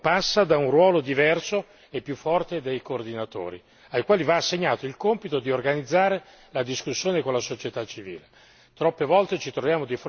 Il rapporto con queste ultime passa da un ruolo diverso e più forte dei coordinatori, ai quali va assegnato il compito di organizzare la discussione con la società civile.